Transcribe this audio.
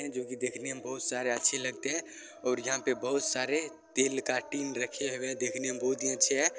जो की देखने में बहोत सारे अच्छे लगते हैं और यहां पे बहुत सारे तेल का टीन रखे हुए देखने में बहुत ही अच्छे हैं।